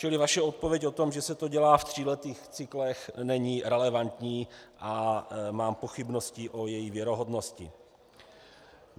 Čili vaše odpověď o tom, že se to dělá v tříletých cyklech, není relevantní a mám pochybnosti o její věrohodnosti.